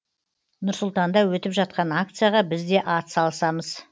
нұр сұлтанда өтіп жатқан акцияға біз де атсалысамыз